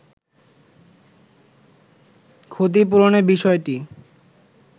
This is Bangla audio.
ক্ষতিপূরণের বিষয়টি